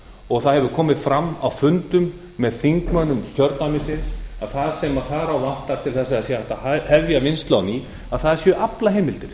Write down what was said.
og það hefur komið fram á fundum með þingmönnum kjördæmisins að það sem þar á vantar til að hægt sé að hafa vinnslu á ný séu aflaheimildir